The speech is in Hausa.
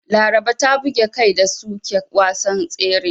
Laraba ta buge kai da suke wasan tsere.